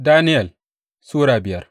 Daniyel Sura biyar